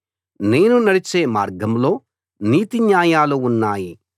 నేను నడిచే మార్గంలో నీతి న్యాయాలు ఉన్నాయి